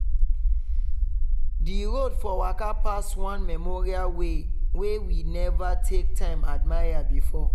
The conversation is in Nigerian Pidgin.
di road for waka pass one memorial wey we never take time admire before.